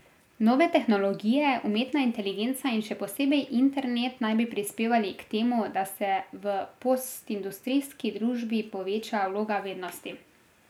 Nove tehnologije, umetna inteligenca in še posebej internet naj bi prispevali k temu, da se v postindustrijski družbi poveča vloga vednosti.